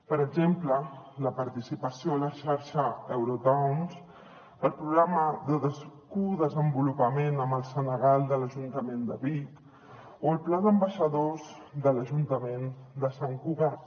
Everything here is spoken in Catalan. per exemple la participació a la xarxa eurotowns el programa de codesenvolupament amb el senegal de l’ajuntament de vic o el pla d’ambaixadors de l’ajuntament de sant cugat